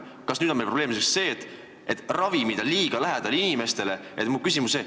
Kas nüüd on meil probleemiks see, et ravimid on inimestele liiga lähedal?